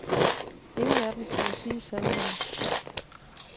Ingen af dem turde sige sandheden.